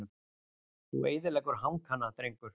Þú eyðileggur hankana drengur!